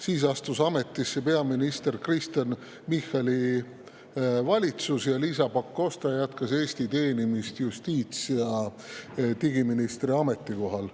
Siis astus ametisse peaminister Kristen Michali valitsus ning Liisa Pakosta jätkas Eesti teenimist justiits- ja digiministri ametikohal.